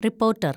reporter‍